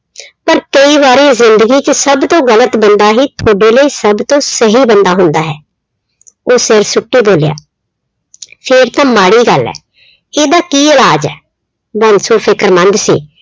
ਪਰ ਕਈ ਵਾਰੀ ਜ਼ਿੰਦਗੀ 'ਚ ਸਭ ਤੋਂ ਗ਼ਲਤ ਬੰਦਾ ਹੀ ਤੁਹਾਡੇ ਲਈ ਸਭ ਤੋਂ ਸਹੀ ਬੰਦਾ ਹੁੰਦਾ ਹੈ, ਉਹ ਬੋਲਿਆ ਫਿਰ ਤਾਂ ਮਾੜੀ ਗੱਲ ਹੈ, ਇਹਦਾ ਕੀ ਇਲਾਜ਼ ਹੈ, ਬਾਂਸੋ ਫ਼ਿਕਰਮੰਦ ਸੀ